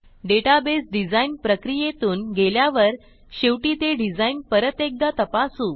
database design प्रक्रियेतून गेल्यावर शेवटी ते डिझाईन परत एकदा तपासू